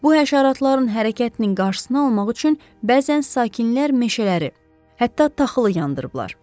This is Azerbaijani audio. Bu həşəratların hərəkətinin qarşısını almaq üçün bəzən sakinlər meşələri, hətta taxılı yandırıblar.